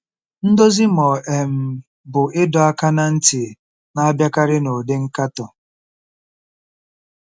Ndozi ma ọ um bụ ịdọ aka ná ntị na-abịakarị n'ụdị nkatọ.